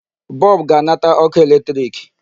Bulb ga-anata ọkụ electric.